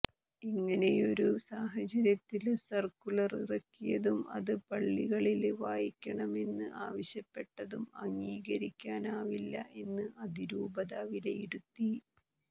ഇങ്ങനെയൊരു സാഹചര്യത്തില് സര്ക്കുലര് ഇറക്കിയതും അത് പള്ളികളില് വായിക്കണമെന്ന് ആവശ്യപ്പെട്ടതും അംഗീകരിക്കാനാവില്ല എന്ന് അതിരൂപത വിലയിരുത്തി